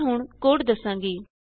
ਮੈਂ ਹੁਣ ਕੋਡ ਦਸਾਂਗੀ